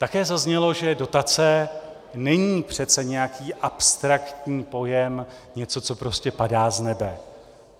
Také zaznělo, že dotace není přece nějaký abstraktní pojem, něco, co prostě padá z nebe.